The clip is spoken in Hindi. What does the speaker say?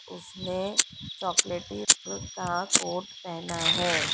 उसने चॉकलेटी का कोट पहना है।